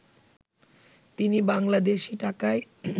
তিনি বাংলাদেশী টাকায়